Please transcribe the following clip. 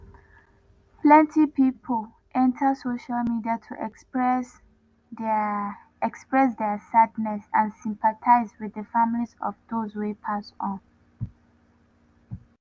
plenty pipo enta social media to express dia express dia sadness and sympathise wit di families of dose wey pass on.